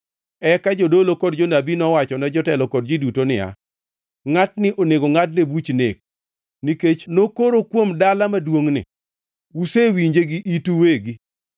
Eka jodolo kod jonabi nowachone jotelo kod ji duto niya, “Ngʼatni onego ngʼadne buch nek nikech nokoro kuom dala maduongʼni. Usewinje gi itu uwegi!”